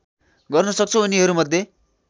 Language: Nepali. गर्न सक्छौँ यिनीहरूमध्ये